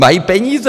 Mají peníze.